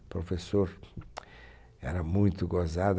O professor era muito gozado.